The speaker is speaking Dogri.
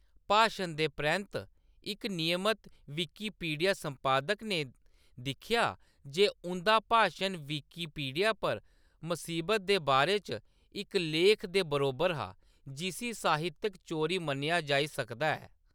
भाशन दे परैंत्त, इक नियमत विकिपीडिया संपादक ने दिक्खेआ जे उंʼदा भाशन विकिपीडिया पर मसीबत दे बारे च इक लेख दे बरोबर हा, जिसी साहित्यक चोरी मन्नेआ जाई सकदा ऐ।